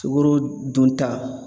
Sukoro dunta